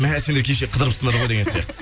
мә сендер кеше қыдырыпсыңдар ғой деген сияқты